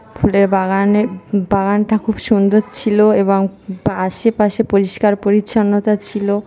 ফুলের বাগানে বাগানটা খুব সুন্দর ছিল এবং আশেপাশে পরিষ্কার-পরিচ্ছন্নতা ছিল।